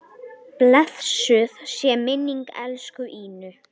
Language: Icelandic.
Blessuð sé minning elsku Ínu.